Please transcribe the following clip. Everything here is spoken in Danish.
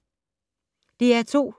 DR2